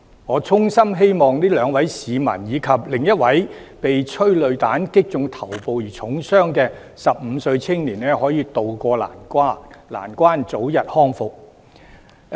我衷心希望這兩位市民，以及另一位被催淚彈擊中頭部而重傷的15歲青年，可以渡過難關，早日康復。